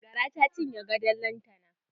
Gara ta cinye gadon lantana.